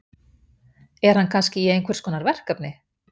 Er hann kannski í einhverskonar verkefni?